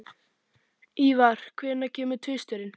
Ívar, hvenær kemur tvisturinn?